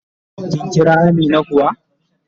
Kin Kira Amina kuwa?